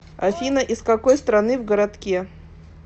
афина из какой страны в городке